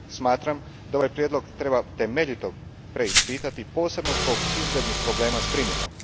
Smatram da ovaj prijedlog treba temeljito preispitati, posebno zbog izglednih problema s primjenom.